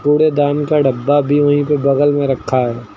कूड़ेदान का डब्बा भी वहीं पे बगल में रखा है।